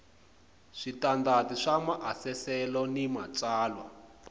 switandati swa maasesele ni matsalwa